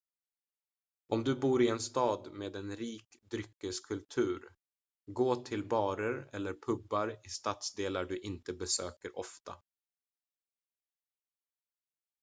om du bor i en stad med en rik dryckeskultur gå till barer eller pubar i stadsdelar du inte besöker ofta